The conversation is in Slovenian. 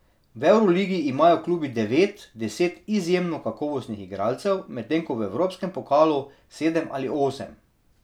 V evroligi imajo klubi devet, deset izjemno kakovostnih igralcev, medtem ko v evropskem pokalu sedem ali osem.